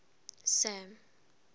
sam